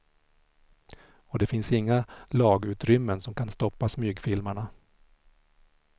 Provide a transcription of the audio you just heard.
Och det finns inga lagutrymmen som kan stoppa smygfilmarna.